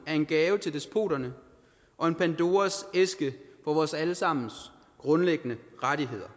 er en gave til despoterne og en pandoras æske for vores alle sammens grundlæggende rettigheder